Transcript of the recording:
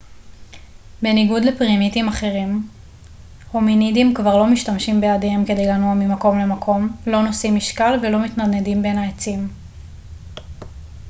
בניגוד לפרימטים אחרים הומינידים כבר לא משתמשים בידיהם כדי לנוע ממקום למקום לא נושאים משקל ולא מתנדנדים בין העצים